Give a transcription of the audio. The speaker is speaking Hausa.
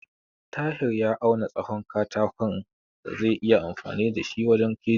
Tahir ya auna tsahon katako da zaiyi amfani da shi wajen keji.